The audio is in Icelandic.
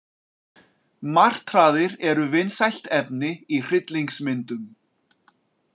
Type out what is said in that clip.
Martraðir eru vinsælt efni í hryllingsmyndum.